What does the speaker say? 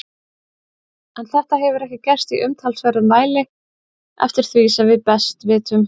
En þetta hefur ekki gerst í umtalsverðum mæli eftir því sem við best vitum.